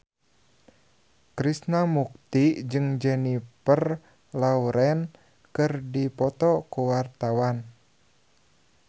Krishna Mukti jeung Jennifer Lawrence keur dipoto ku wartawan